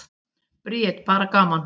Bríet: Bara gaman.